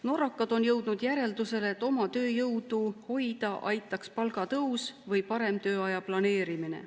Norrakad on jõudnud järeldusele, et oma tööjõudu hoida aitaks palgatõus või parem tööaja planeerimine.